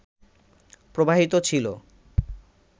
প্রবাহিত ছিলো